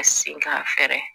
A sen k'a fɛrɛ